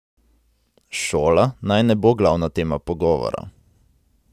Šola naj ne bo glavna tema pogovora.